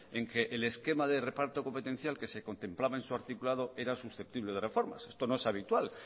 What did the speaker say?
en que el esquema del reparto competencial que se contemplaba en su articulado era susceptible de reformas esto no es habitual